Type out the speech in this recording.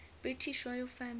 british royal family